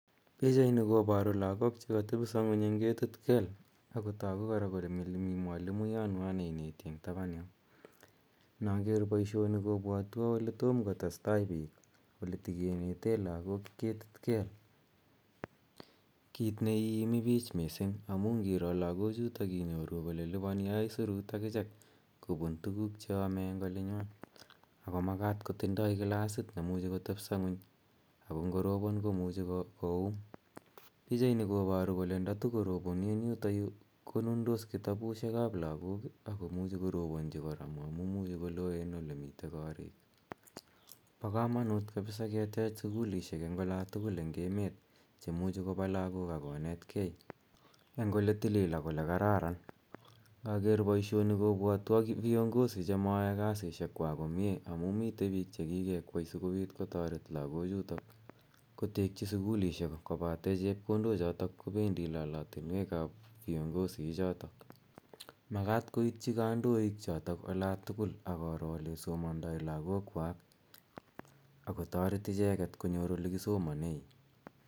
Pichaini koparu lagok che katepisa ng'uny eng' ketit kel. Ako tagu kora kole mi mwalimuyanwa ne ineti eng' tapan yo. Inaker poishoni kopwatwa ole toma kotes tai piik ,ole ta kinete lagok ketit kel, kiit ne iimi pich missing' amu ngiro lagochutok inyoru ile lipani aisurut akichek kopun tuguk che ame eng' olinywa ako makat kotinye klasit ne imuchi kotepsa ng'uny ako ngoropon komuchi koum. Pichani koparu kole ndatukoroponi eng' yutayu konundos kitabushek ap lagok ako muchi koroponchi kora amu imuchi ko loen ole mitei korik. Pa kamanut kapsa ketech sukulishek eng' ola tugul eng' emet che muchi kopa lagok ak konetgei eng' ole tilil ak ole kararan. Ngaker poishoni kopwatwa viongozi che mayae kasishekwak komye amu mitei piik che kikekwei asikopit kotaret lagochutok kotekchi sukulishek kopate chepkondochotok kopendi lalatinwek ap viongozi ichotok. Makat koityi kandoichotok ola tugul ak koro ole somandai lagokwak ako taret icheget konyor ole kisomane.